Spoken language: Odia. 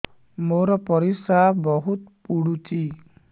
ମୋର ପରିସ୍ରା ବହୁତ ପୁଡୁଚି